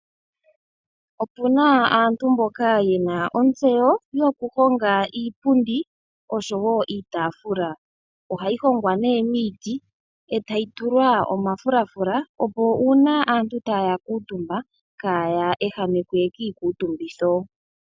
Opuna aantu mboka yena ontseyo yoku honga iipundi oshowo iitaafula. Ohayi hongwa nee miiti etayi tulwa omafulafula opo uuna aantu taya kuutumba kaya ehamekwe kiikutumbitho